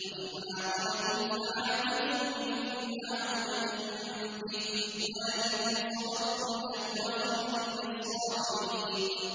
وَإِنْ عَاقَبْتُمْ فَعَاقِبُوا بِمِثْلِ مَا عُوقِبْتُم بِهِ ۖ وَلَئِن صَبَرْتُمْ لَهُوَ خَيْرٌ لِّلصَّابِرِينَ